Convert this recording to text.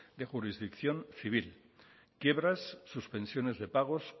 de jurisdicción civil quiebras suspensiones de pagos